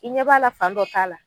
I ɲɛ b'a la fan dɔ t'a la